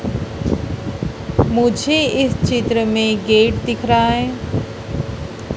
मुझे इस चित्र में गेट दिख रहा है।